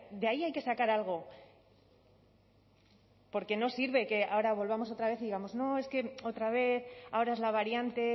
de ahí hay que sacar algo porque no sirve que ahora volvamos otra vez y digamos no es que otra vez ahora es la variante